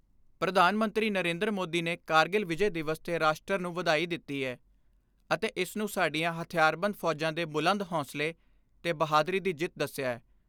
ਪ੍ਰਧਾਨ ਮੰਤਰੀ ਨਰਿੰਦਰ ਮੋਦੀ ਨੇ ਕਾਰਗਿਲ ਵਿਜੈ ਦਿਵਸ ਤੇ ਰਾਸ਼ਟਰ ਨੂੰ ਵਧਾਈ ਦਿੱਤੀ ਏ ਅਤੇ ਇਸਨੂੰ ਸਾਡੀਆਂ ਹਥਿਆਰਬੰਦ ਫੌਜਾਂ ਦੇ ਬੁਲੰਦ ਹੌਸਲੇ ਤੇ ਬਹਾਦਰੀ ਦੀ ਜਿੱਤ ਦੱਸਿਐ।